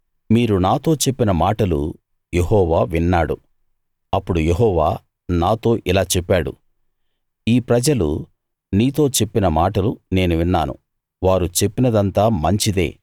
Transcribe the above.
మీరు నాతో చెప్పిన మాటలు యెహోవా విన్నాడు అప్పుడు యెహోవా నాతో ఇలా చెప్పాడు ఈ ప్రజలు నీతో చెప్పిన మాటలు నేను విన్నాను వారు చెప్పినదంతా మంచిదే